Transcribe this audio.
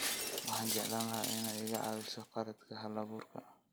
Waxaan jeclaan lahaa inay iga caawiso khaladka halabuurka